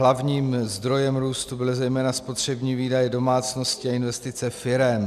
Hlavním zdrojem růstu byly zejména spotřební výdaje domácností a investice firem.